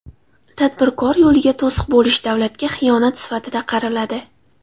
Tadbirkor yo‘liga to‘siq bo‘lish davlatga xiyonat sifatida qaraladi.